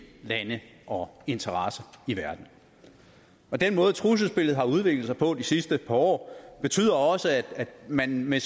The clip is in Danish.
lande og interesser i verden den måde trusselsbilledet har udviklet sig på de sidste par år betyder også at man med